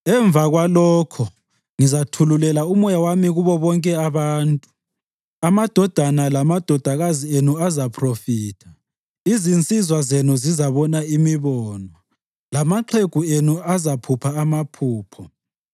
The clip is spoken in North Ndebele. “Emva kwalokho, ngizathululela uMoya wami kubo bonke abantu. Amadodana lamadodakazi enu azaphrofitha, izinsizwa zenu zizabona imibono, lamaxhegu enu azaphupha amaphupho.